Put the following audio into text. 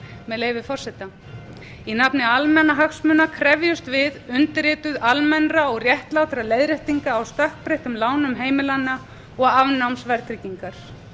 með leyfi forseta í nafni almannahagsmuna krefjumst við undirrituð almennra og réttlátra leiðréttinga á stökkbreyttum lánum heimilanna og afnáms verðtryggingar